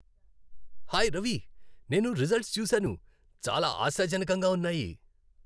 Hi Ravi, నేను results చూశాను, చాలా ఆశాజనకంగా ఉన్నాయి.